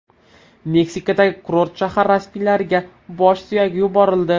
Meksikadagi kurort shahar rasmiylariga bosh suyagi yuborildi.